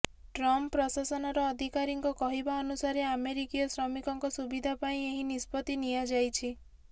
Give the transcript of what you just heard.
Trump ପ୍ରଶାସନର ଅଧିକାରୀଙ୍କ କହିବା ଅନୁସାରେ ଆମେରିକୀୟ ଶ୍ରମିକଙ୍କ ସୁବିଧା ପାଇଁ ଏହି ନିଷ୍ପତ୍ତି ନିଆଯାଇଛି